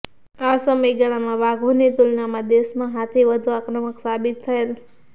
આ સમયગાળામાં વાઘોની તુલનામાં દેશમાં હાથી વધુ આક્રમક સાબિત થયેલ